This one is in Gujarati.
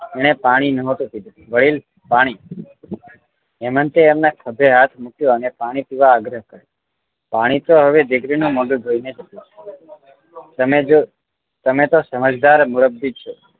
એણે પાણી નહતું પીધું વડીલ પાણી હેમંતે એમનાં ખભે હાથ મુક્યો અને પાણી પીવા આગ્રહ કર્યો પાણી તો હવે દીકરી નું મોઢું જોઈને જ પીશું તમે જો તમે તો સમજદાર વ્યક્તિ છો